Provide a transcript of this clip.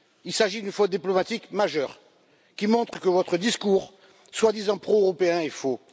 il s'agit d'une faute diplomatique majeure, qui montre que votre discours, soi disant pro européen, est faux.